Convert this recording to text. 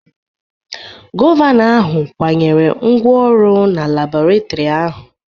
Gọvanọ ahụ kwanyere ngwa ọrụ na Labọretọri ahụ.